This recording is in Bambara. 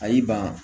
A y'i ban